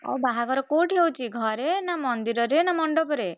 ଆଉ ବାହାଘର କୋଉଠି ହଉଛି ଘରେ, ନା ମନ୍ଦିରରେ, ନା ମଣ୍ଡପରେ?